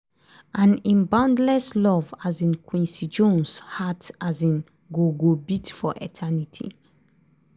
and im boundless love um quincy jones' heart um go go beat for eternity".